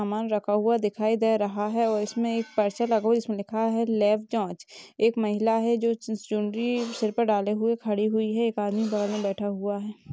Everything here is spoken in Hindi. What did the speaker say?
सामान रखा हुआ दिखाई दे रहा हैं और इसमे एक पर्चा लगा हुआ हैं जिसमे लिखा हैं लैब जांच एक महिला हैं जो चुनरी सर पर डाली हुई खड़ी हुई हैं एक आदमी बाहर मे बैठा हुआ हैं।